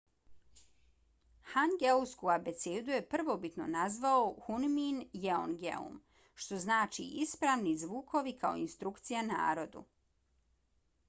hangeulsku abecedu je prvobitno nazvao hunmin jeongeum što znači ispravni zvukovi kao instrukcija narodu